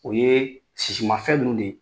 O ye sisimanfɛn minnu de ye